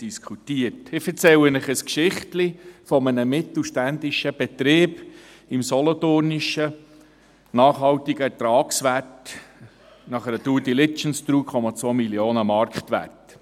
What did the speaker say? Ich erzähle Ihnen ein Geschichtchen eines mittelständischen Betriebs im Solothurnischen, nachhaltiger Ertragswert nach einer Due-Diligence, 3,2 Mio. Franken Marktwert.